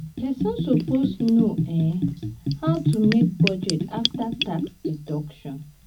person suppose know um how to make budget after tax deduction